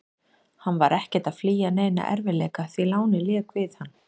Hann var ekkert að flýja neina erfiðleika, því lánið lék við hann.